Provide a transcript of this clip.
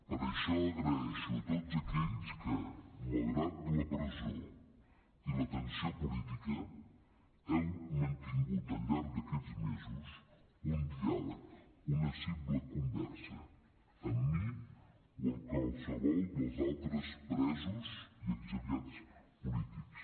per això agraeixo tots aquells que malgrat la presó i la tensió política heu mantingut al llarg d’aquests mesos un diàleg una simple conversa amb mi o amb qualsevol dels altres presos i exiliats polítics